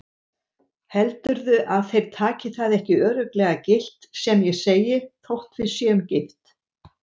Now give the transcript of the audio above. Heldurðu að þeir taki það ekki örugglega gilt sem ég segi þótt við séum gift?